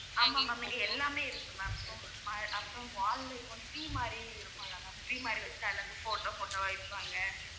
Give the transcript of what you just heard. ஆமா ma'am இங்க எல்லாமே இருக்கு ma'am அப்புறம் wall ல இப்ப வந்து tree மாதிரி இருக்கும்ல tree மாதிரி வெச்சு அதுல இருந்து photo photo வ வைப்பாங்க.